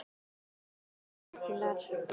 Pálmi Ragnar.